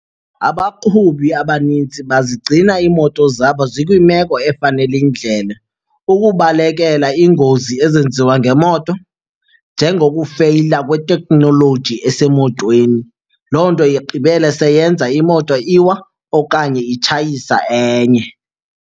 Abaqhubi abanintsi bazigcina iimoto zabo zikwimeko efanele indlela ukubalekela iingozi ezenziwa ngemoto njengokufeyila kweteknoloji esemotweni. Loo nto igqibele seyenza imoto iwa okanye itshayisa enye.